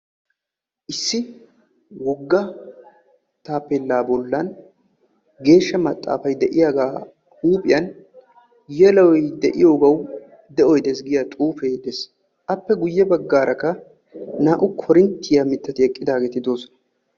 issi wogga taapella bollani gesha maxxaffa bollani naa"ayi de"iyogassi de"oy deessi yageessi appe guyye bagara qassi naa"u koorintya mittati eqidagetti beettossona.